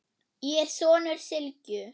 Ég er sonur Sylgju